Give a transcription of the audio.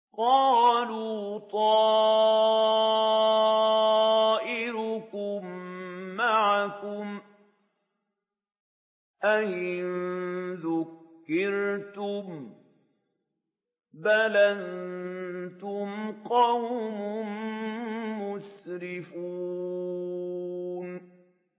قَالُوا طَائِرُكُم مَّعَكُمْ ۚ أَئِن ذُكِّرْتُم ۚ بَلْ أَنتُمْ قَوْمٌ مُّسْرِفُونَ